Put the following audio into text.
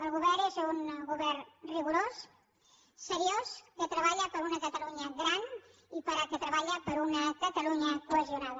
el govern és un govern rigorós seriós que treballa per una catalunya gran i que treballa per una catalunya cohesionada